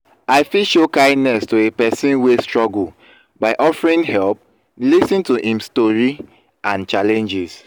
i fit show kindness to a pesin wey struggle by offering help lis ten to im strory and challenges.